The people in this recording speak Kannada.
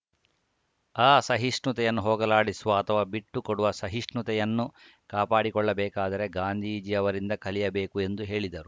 ಅಸಹಿಷ್ಣುತೆಯನ್ನು ಹೋಗಲಾಡಿಸುವ ಅಥವಾ ಬಿಟ್ಟುಕೊಡುವ ಸಹಿಷ್ಣುತೆಯನ್ನು ಕಾಪಾಡಿಕೊಳ್ಳಬೇಕಾದರೆ ಗಾಂಧೀಜಿಯವರಿಂದ ಕಲಿಯಬೇಕು ಎಂದು ಹೇಳಿದರು